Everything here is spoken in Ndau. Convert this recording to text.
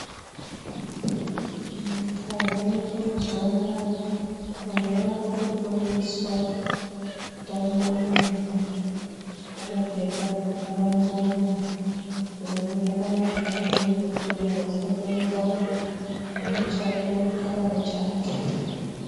Nyika dzeshe mazuwa anaya antu akutofundiswa utano .. akapfeka zvivhara muromo zviro zvakanaka ngezvekuti antu asafemerana une chake unogara nechake.